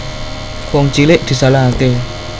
Wong cilik disalahake